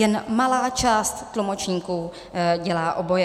Jen malá část tlumočníků dělá oboje.